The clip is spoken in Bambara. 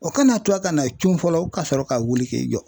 O kan'a to a ka na cun fɔlɔ kasɔrɔ ka wuli k'i jɔ.